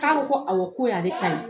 K'a ko ko awɔ, ko y'ale ta ye.